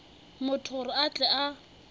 motho gore a tle a